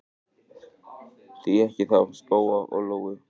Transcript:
Því ekki þá spóa og lóu?